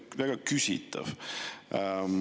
– väga küsitav.